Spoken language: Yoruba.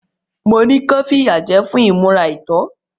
Mo ní kí wọ́n fìyà jẹ ẹ́ fún ìmúra àìtọ́.